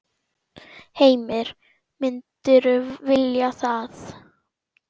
Heimir: Myndirðu vilja það?